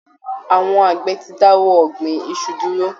Àwọn Àgbẹ̀ ti dáwọ́ ọ̀gbìn iṣu dúró